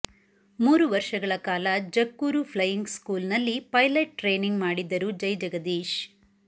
ಮೂರು ವರ್ಷಗಳ ಕಾಲ ಜಕ್ಕೂರು ಫ್ಲೈಯಿಂಗ್ ಸ್ಕೂಲ್ ನಲ್ಲಿ ಪೈಲಟ್ ಟ್ರೇನಿಂಗ್ ಮಾಡಿದ್ದರು ಜೈಜಗದೀಶ್